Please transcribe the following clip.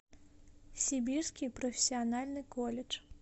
сибирский профессиональный колледж